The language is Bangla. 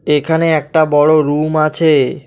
এখানে একটা বড় রুম আছে।